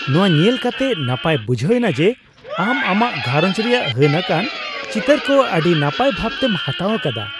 ᱱᱚᱶᱟ ᱧᱮᱞ ᱠᱟᱛᱮᱜ ᱱᱟᱯᱟᱭ ᱵᱩᱡᱷᱟᱹᱣ ᱮᱱᱟ ᱡᱮ ᱟᱢ ᱟᱢᱟᱜ ᱜᱷᱟᱨᱚᱸᱡᱽ ᱨᱮᱭᱟᱜ ᱦᱟᱹᱱ ᱟᱠᱟᱱ ᱪᱤᱛᱟᱹᱨ ᱠᱚ ᱟᱹᱰᱤ ᱱᱟᱯᱟᱭ ᱵᱷᱟᱵ ᱛᱮᱢ ᱦᱟᱛᱟᱣ ᱟᱠᱟᱫᱟ ᱾